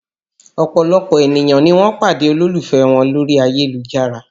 Ọ̀pọ̀lọpọ̀ ènìyàn ni wọ́n pàdé olólùfẹ́ wọn lórí ayélujára